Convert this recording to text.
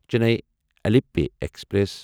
Chennai Alleppey express